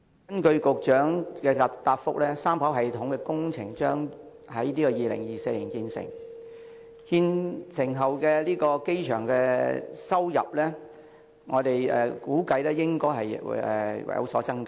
根據局長的答覆，三跑道系統工程將於2024年完工，其後機場收入估計會有所增加。